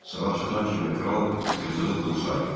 Sala çatan kimi kral yığdığı pulu saydı.